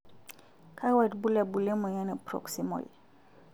kakua irbulabol le moyian e Proximal?